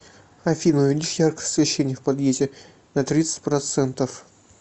афина увеличь яркость освещения в подъезде на тридцать процентов